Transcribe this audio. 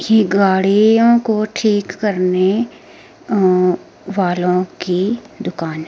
ये गाड़ियां को ठीक करने अं वालों की दुकान हैं।